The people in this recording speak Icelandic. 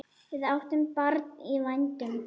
Við áttum barn í vændum.